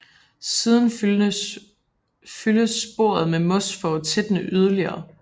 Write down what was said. Siden fyldes sporet med mos for at tætne yderligere